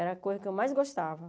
Era a coisa que eu mais gostava.